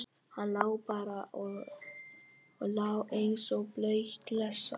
Hann lá bara og lá eins og blaut klessa.